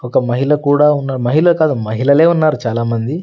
ఒక మహిళ కుడా ఉన్నర్ మహిళే కాదు మహిళలే ఉన్నారు చాలా మంది.